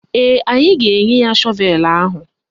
Ee, anyị ga-enye ya shọvelu ahụ.